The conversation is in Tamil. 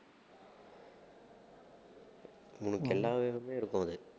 உனக்கு இருக்கும் அது